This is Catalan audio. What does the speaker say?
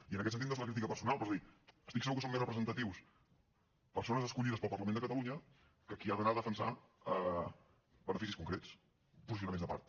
i en aquest sentit no és la crítica personal però és dir estic segur que són més representatius persones escollides pel parlament de catalunya que qui ha d’anar a defensar beneficis concrets posicionaments de part